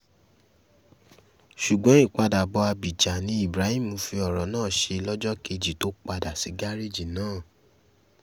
ṣùgbọ́n ìpadàbọ̀ ábíjà ni ibrahim fi ọ̀rọ̀ náà ṣe lọ́jọ́ kejì tó padà sí gárẹ́ẹ̀jì náà